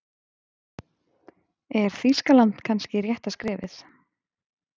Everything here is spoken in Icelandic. Er Þýskaland kannski rétta skrefið?